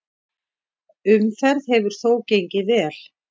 Umferð hefur þó gengið vel.